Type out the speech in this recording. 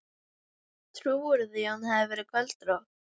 Trúirðu því að hún hafi verið göldrótt.